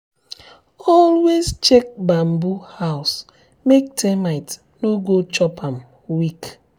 always check bamboo house make termite no go chop am weak.